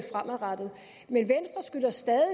se fremadrettet men venstre skylder stadig